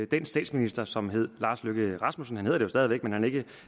den statsminister som hed lars løkke rasmussen han hedder det jo stadig væk man han er ikke